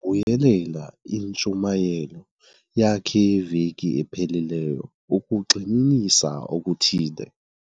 buyelela intshumayelo yakhe yeveki ephelileyo ukugxininisa okuthile.